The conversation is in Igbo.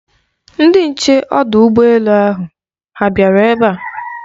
Ndị nche ọdụ ụgbọ elu ahụ ha bịara ebe a?